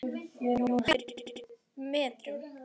Hæðir í metrum.